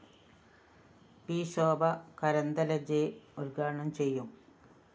P Shobha Karandlaje ഉദ്ഘാടനം ചെയ്യും